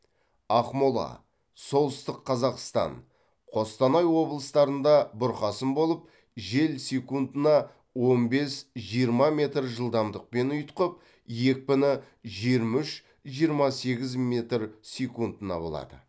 ақмола солтүстік қазақстан қостанай облыстарында бұрқасын болып жел секундына он бес жиырма метр жылдамдықпен ұйытқып екпіні жиырма үш жиырма сегіз метр секундына болады